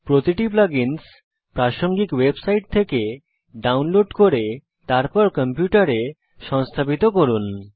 প্রতিটি plug ins প্রাসঙ্গিক website থেকে ডাউনলোড করে তারপর কম্পিউটারে সংস্থাপিত করুন